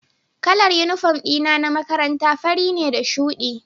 Kalar uniform dina na makaranta fari ne da shudi